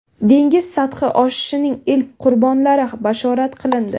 Dengiz sathi oshishining ilk qurbonlari bashorat qilindi.